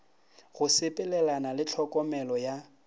go sepelelana le tlhokomelo ya